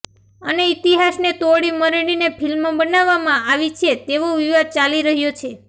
અને ઈતિહાસને તોડી મરડીને ફિલ્મ બનાવવામાં આવી છે તેવો વિવાદ ચાલી રહ્યો છે